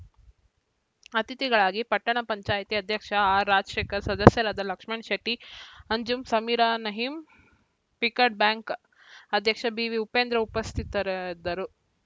ಅತಿಥಿಗಳಾಗಿ ಪಟ್ಟಣ ಪಂಚಾಯಿತಿ ಅಧ್ಯಕ್ಷ ಆರ್‌ರಾಜಶೇಖರ್‌ ಸದಸ್ಯರಾದ ಲಕ್ಷ್ಮಣ ಶೆಟ್ಟಿ ಅಂಜುಂ ಸಮೀರಾ ನಹೀಂ ಪಿಕಾರ್ಡ್‌ ಬ್ಯಾಂಕ್‌ ಅಧ್ಯಕ್ಷ ಬಿವಿ ಉಪೇಂದ್ರ ಉಪಸ್ಥಿತರಿದ್ದರು